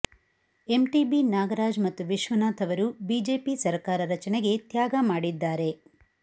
MTB Nagaraj ಮತ್ತು ವಿಶ್ವನಾಥ್ ಅವರು BJP ಸರಕಾರ ರಚನೆಗೆ ತ್ಯಾಗ ಮಾಡಿದ್ದಾರೆ